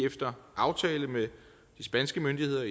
efter aftale med de spanske myndigheder